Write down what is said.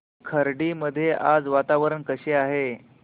खर्डी मध्ये आज वातावरण कसे आहे